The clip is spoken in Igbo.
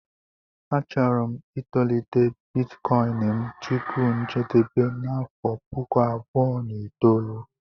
Achọrọ m itolite Bitikoin m tupu njedebe n' afọ puku abụọ na itoolu